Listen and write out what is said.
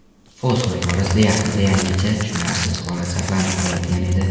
Fosfor borasida yaqin-yaqingacha tushunarsiz holat saqlanib qolayotgan edi.